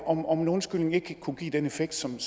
om om en undskyldning ikke kunne give den effekt som